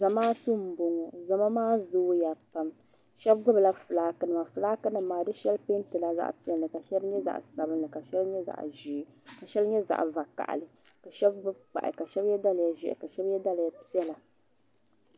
Zamaatu m-bɔŋɔ zama maa zooya pam shɛba gbubila fulaakinima fulaakinima maa di shɛli peentila zaɣ'piɛlli ka shɛli nyɛ zaɣ'sabinli ka shɛli nyɛ zaɣ'ʒee ka shɛli nyɛ zaɣ'vakahili ka shɛba gbubi kpahi ka shɛba ye daliya ʒɛhi ka shɛba ye daliya piɛla.